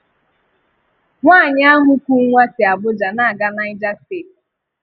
Nwáànyị ahụ kù nwá si Abuja na-aga Niger Steeti.